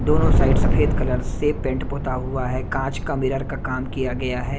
दोनों साइड सफेद कलर से पेंट पुता हुआ है कांच का मिरर का काम किया गया है।